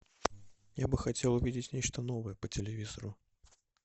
я бы хотел увидеть нечто новое по телевизору